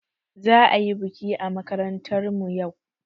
Za'a yi baƙi a makarantar mu yau.